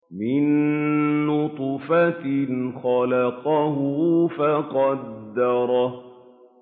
مِن نُّطْفَةٍ خَلَقَهُ فَقَدَّرَهُ